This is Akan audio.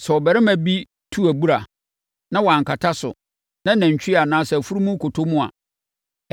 “Sɛ ɔbarima bi tu abura, na wankata so, na nantwie anaa afunumu kɔtɔ mu a,